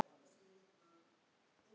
Hangir í loftinu hjá mér.